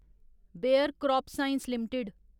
bear CropScience limited